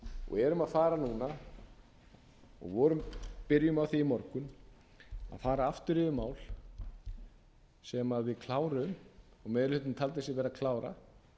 og erum að fara núna og byrjuðum á því í morgun að fara aftur yfir mál sem við kláruðum og meiri hlutinn taldi sig vera að klára